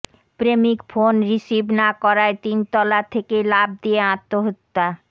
প্রেমিক phone receive না করায় তিনতলা থেকে লাফ দিয়ে আত্মহত্যা